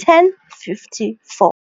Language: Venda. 1054.